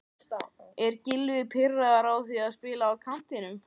Er Gylfi pirraður á því að spila á kantinum?